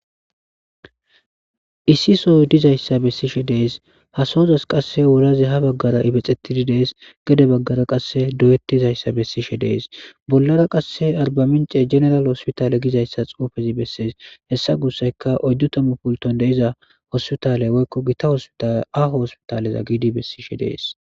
Issi sohoy diizayssa bessishe de'ess ha sohozi qasse wulazi ha baggara ibbixetti de'es gedde bagerra qasse doyettizayssa besishe de'es bollara qasse arbamincce jeneralle hossipitale giizayssa xuufezi besses hessa gussayka oyddu tammu puultoy deiza hossiputale woykko giita hossputalle aho hossipitale giidi bessishe de'essi.